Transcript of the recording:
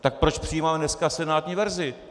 Tak proč přijímáme dneska senátní verzi?